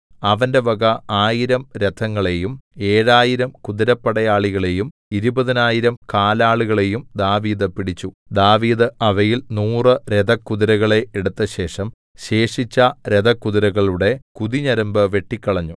അവന്റെ വക ആയിരം രഥങ്ങളെയും ഏഴായിരം കുതിരപ്പടയാളികളേയും ഇരുപതിനായിരം കാലാളുകളെയും ദാവീദ് പിടിച്ചു ദാവീദ് അവയിൽ നൂറു രഥകുതിരകളെ എടുത്തശേഷം ശേഷിച്ച രഥകുതിരകളുടെ കുതിഞരമ്പു വെട്ടിക്കളഞ്ഞു